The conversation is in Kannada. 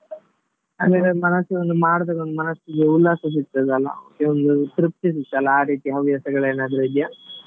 ಅಂದ್ರೆ ನನ್ ಮನಸ್ಸಿಗೆ ಒಂದು ಮಾಡಿದಾಗ ಮನಸ್ಸಿಗೆ ಉಲ್ಲಾಸ ಸಿಗ್ತದಲ್ಲ ಒಂದು ತೃಪ್ತಿ ಸಿಗ್ತದಲ್ಲ ಆ ರೀತಿ ಹವ್ಯಾಸಗಳೇನಾದ್ರು ಇದ್ಯಾ?